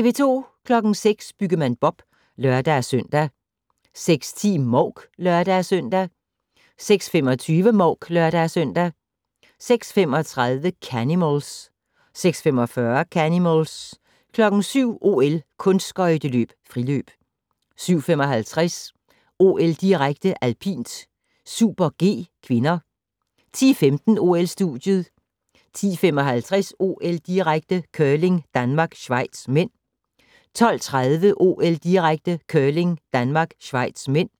06:00: Byggemand Bob (lør-søn) 06:10: Mouk (lør-søn) 06:25: Mouk (lør-søn) 06:35: Canimals 06:45: Canimals 07:00: OL: Kunstskøjteløb - friløb 07:55: OL-direkte: Alpint - Super-G (k) 10:15: OL-studiet 10:55: OL-direkte: Curling - Danmark-Schweiz (m) 12:30: OL-direkte: Curling - Danmark-Schweiz (m)